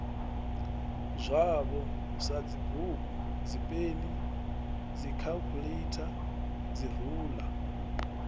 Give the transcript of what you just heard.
zwavho sadzibugu dzipeni dzikhaḽikhuḽeitha dziruḽa